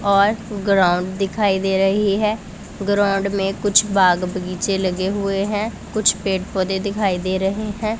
और ग्राउंड दिखाई दे रही है। ग्राउंड में कुछ बाग बगीचे लगे हुए हैं। कुछ पेड़-पौधे दिखाई दे रहे हैं।